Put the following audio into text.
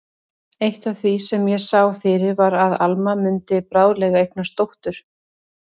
Eitt af því sem ég sá fyrir var að Alma mundi bráðlega eignast dóttur.